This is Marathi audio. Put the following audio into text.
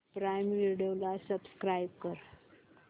प्राईम व्हिडिओ ला सबस्क्राईब कर